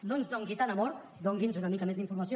no ens doni tant amor doni’ns una mica més d’informació